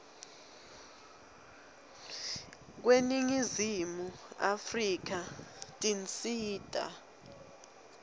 kweningizimu afrika tinsita